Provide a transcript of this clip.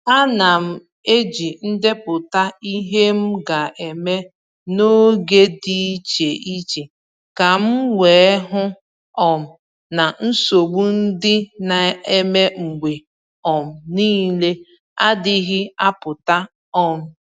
A na m eji ndepụta ihe m ga-eme n’oge dị iche iche ka m wee hụ um na nsogbu ndị na-eme mgbe um niile adịghị apụta um